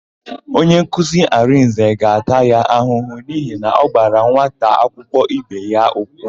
Onyenkuzi Arịnze ga-ata ya ahụhụ n'ihi na ọ gbara nwata akwụkwọ ibe ya ụkwụ.